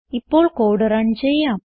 ഇപ്പോൾ code run ചെയ്യാം